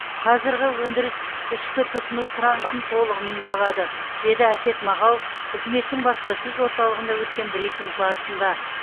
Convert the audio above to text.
қазырғы өндіріс ішкі тұтыну сұранысын толығымен жабады деді әсет мағауов үкіметтің баспасөз орталығында өткен брифинг барысында